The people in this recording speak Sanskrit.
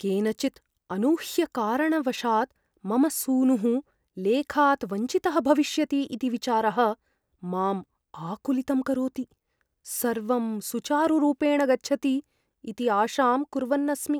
केनचित् अनूह्यकारणवशात् मम सूनुः लेखात् वञ्चितः भविष्यति इति विचारः मां आकुलितं करोति, सर्वं सुचारुरूपेण गच्छति इति आशां कुर्वन् अस्मि।